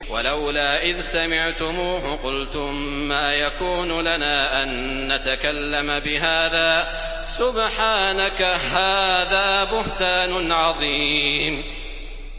وَلَوْلَا إِذْ سَمِعْتُمُوهُ قُلْتُم مَّا يَكُونُ لَنَا أَن نَّتَكَلَّمَ بِهَٰذَا سُبْحَانَكَ هَٰذَا بُهْتَانٌ عَظِيمٌ